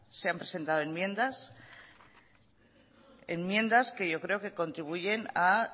se han presentado enmiendas enmiendas que yo creo que contribuyen a